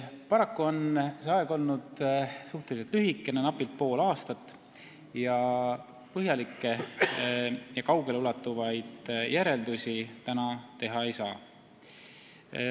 Paraku on see aeg olnud suhteliselt lühikene, napilt pool aastat, ning põhjalikke ega kaugeleulatuvaid järeldusi täna teha ei saa.